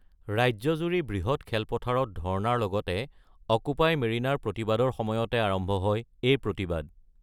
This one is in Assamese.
ৰাজ্যজুৰি বৃহৎ খেলপথাৰত ধৰ্ণাৰ লগতে অক্যুপাই মেৰিনাৰ প্ৰতিবাদৰ সময়তে আৰম্ভ হয় এই প্ৰতিবাদ।